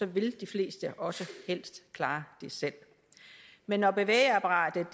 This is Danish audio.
vil de fleste også helst klare det selv men når bevægeapparatets